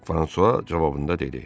Fransua cavabında dedi.